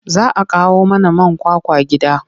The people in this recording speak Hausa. Za a kawo mana man kwakwa gida.